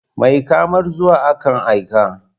Mai kamar zuwa, akan aika.